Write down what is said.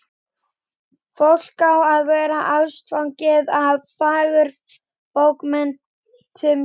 Fólk á að verða ástfangið af fagurbókmenntum hélt